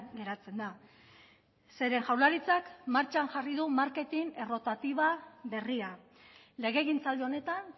geratzen da zeren jaurlaritzak martxan jarri du marketin errotatiba berria legegintzaldi honetan